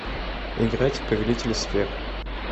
играть в повелители сфер